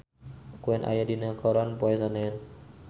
Queen aya dina koran poe Senen